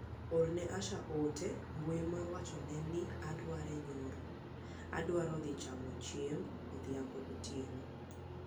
Orne Asha ote mbui mar wachone ni ne adware nyoro adwaro dhi chamo chiemb odhiambo gotieno.